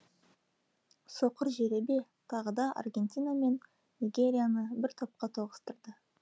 соқыр жеребе тағы да аргентина мен нигерияны бір топқа тоғыстырды